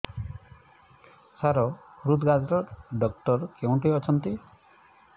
ସାର ହୃଦଘାତ ଡକ୍ଟର କେଉଁଠି ଅଛନ୍ତି